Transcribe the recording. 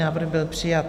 Návrh byl přijat.